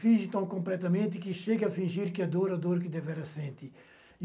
Finge tão completamente que chega a fingir que a dor é a dor que devera sente